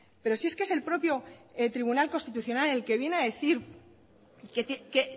pero si es que es el propio tribunal constitucional el que viene a decir que